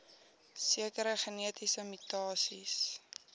sekere genetiese mutasies